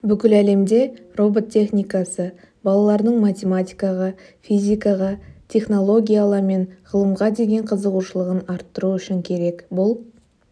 бүкіл әлемде робот техникасы балалардың математикаға физхикаға технологияла мен ғылымға деген қызығушылығын арттыру үшін керек бұл